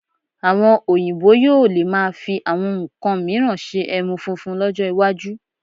Àwọn Oyinbo yóò lè máa fi àwọn nnkan mìíràn ṣe ẹmu funfun lọ́jọ́ iwájú